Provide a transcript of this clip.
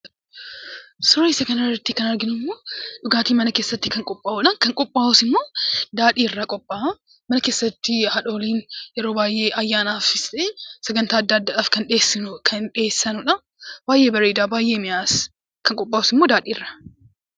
Suurri kana irratti arginu immoo dhugaatii mana keessatti qophaa'udha, kan yeroo qophaa'us immoo daadhii irraa qophaa'a. Mana keessanitti haadholiin yeroo baayyee ayyaanaafis ta'ee sagantaa addaa addaaf kan dhiheeffamudha. Baayyee bareeda, baayyee mi'aawas. Kan qophaa'us daadhii irraa.